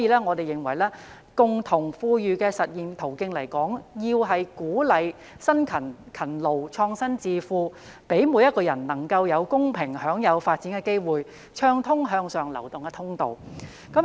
我們認為，共同富裕的實現途徑來說，要鼓勵辛勤、勤勞、創新致富，讓每個人能夠有公平享有發展的機會，暢通向上流動的通道。